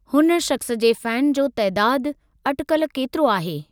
हुन शख़्स जे फैन जो तइदादु अटिकल केतिरो आहे?